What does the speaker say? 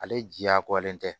Ale jiyakolen tɛ